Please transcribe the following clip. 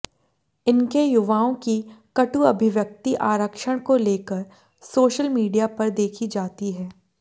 इनके युवाओं की कटु अभिव्यक्ति आरक्षण को लेकर सोशल मीडिया पर देखी जाती है